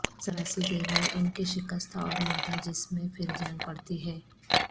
ذرا سی دیر میں ان کے شکستہ اور مردہ جسم میں پھر جان پڑتی ہے